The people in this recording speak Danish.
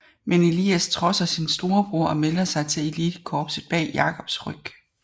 Men Elias trodser sin storebror og melder sig til elitekorpset bag Jacobs ryg